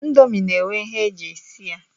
Ndomi na-enwe ihe e ji esi ya